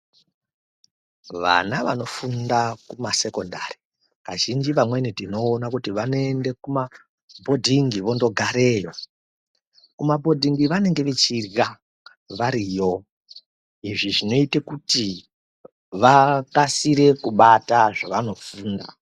Vana vanofunda kumasekondari kazhinji kamweni tinoona kuti vanoende kumabhodhingi vondogareyo. Kumabhodhingi vanenge vachirya variyo, izvi zvinoite kuti vakasire kubata zvevanofunda.